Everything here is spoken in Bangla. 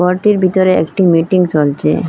ঘরটির ভিতরে একটি মিটিং চলছে।